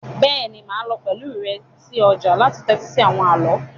Béèni máà lo pẹ̀lu rẹ si ojà láti tẹ́tí si àwon àló